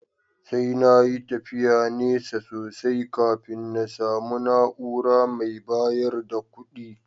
Sai na yi tafiyar nesa sosai kafin na samu na’ura mai bayar da kuɗi